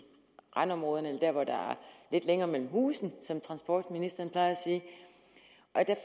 randområderne der hvor der er lidt længere mellem husene som transportministeren plejer at sige